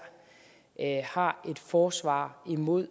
har et forsvar imod